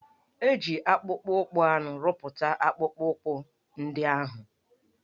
E ji akpụkpọ anụ rụpụta akpụkpọụkwụ ndị ahụ?